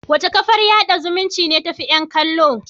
Wace kafar yada zumunci ce tafi yan kallo?